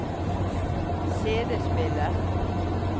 CD-spiller